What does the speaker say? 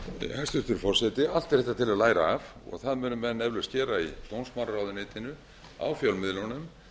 hæstvirtur forseti allt er þetta til að læra af og það munu menn eflaust gera í dómsmálaráðuneytinu í fjölmiðlunum